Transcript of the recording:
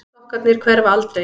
Sokkarnir hverfa aldrei.